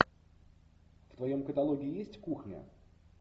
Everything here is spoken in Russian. в твоем каталоге есть кухня